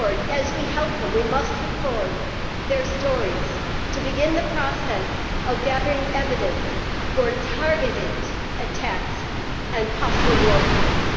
As we help them, we must record their stories, to begin the process of gathering evidence for targeted attacks and possible war crimes.